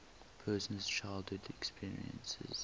person's childhood experiences